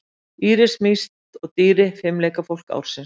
Íris Mist og Dýri fimleikafólk ársins